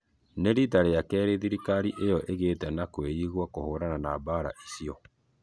Nĩ rĩta rĩa keerĩ thĩrĩkarĩ ĩyo igĩte na kwiĩgwa kũhũrana na mbara icĩo